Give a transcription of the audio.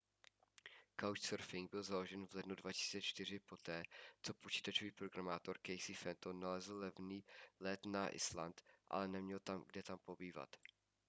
couchsurfing byl založen v lednu 2004 poté co počítačový programátor casey fenton nalezl levný let na island ale neměl kde tam pobývat